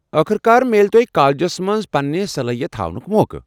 ٲخٕر کار میلہِ تۄہہِ کالجس منٛز پنٕنہِ صلٲحیتہٕ ہاونُك موقعہٕ۔